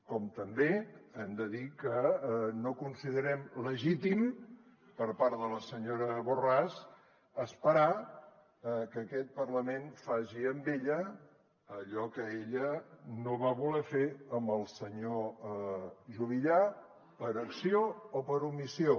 com també hem de dir que no considerem legítim per part de la senyora borràs esperar a que aquest parlament faci amb ella allò que ella no va voler fer amb el senyor juvillà per acció o per omissió